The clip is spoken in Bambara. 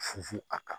Fufu a kan